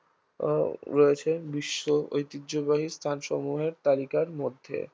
আহ রয়েছে বিশ্ব ঐতিহ্যবাহী স্থানসমূহের তালিকার মধ্যে